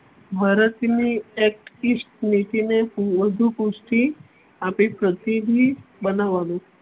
મરાઠી ન acteast નીતિ ને વધુ પૃથિ આપી ને પ્રતિનિધિ બનાવવાનું.